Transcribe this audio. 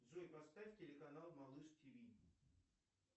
джой поставь телеканал малыш тв